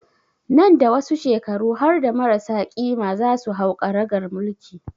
Nan da wasu shekaru harda marasa ƙima za su hau karagar mulki